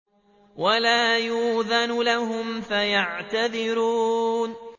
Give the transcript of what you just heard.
وَلَا يُؤْذَنُ لَهُمْ فَيَعْتَذِرُونَ